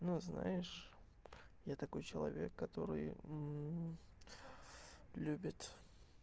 ну знаешь я такой человек который любит